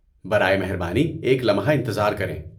برائے مہربانی ایک لمحہ انتظار کریں۔